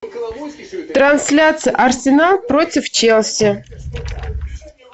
трансляция арсенал против челси